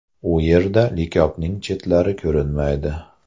U yerda likopning chetlari ko‘rinmaydi.